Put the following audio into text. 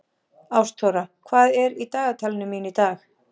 Ástþóra, hvað er í dagatalinu mínu í dag?